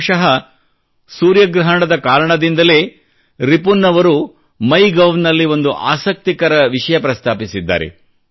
ಬಹುಶಃ ಸೂರ್ಯಗ್ರಹಣದ ಕಾರಣದಿಂದಲೇ ರಿಪುನ್ ಅವರು ಮೈ ಗೌ ನಲ್ಲಿ ಒಂದು ಆಸಕ್ತಿಕರ ಪ್ರಸ್ತಾಪಿಸಿದ್ದ್ದಾರೆ